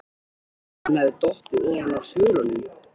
Að hann hefði dottið ofan af svölunum!